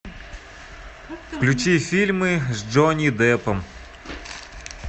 включи фильмы с джонни деппом